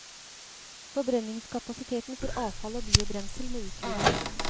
Forbrenningskapasiteten for avfall og biobrensel må utvides.